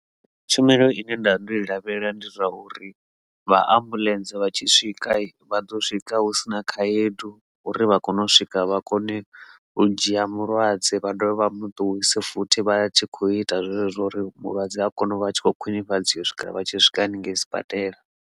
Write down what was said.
Tshumelo ine nda ndo i lavhelela ndi zwa uri vha ambuḽentse vha tshi swika vha ḓo swika hu si na khaedu uri vha kone u swika vha kone u dzhia mulwadze vha dovha vha mu ṱuwise futhi vha tshi kho ita zwezwo uri mulwadze a kone u vha tshi khou khwinifhadzea u swikela vha tshi swika hanengei sibadela.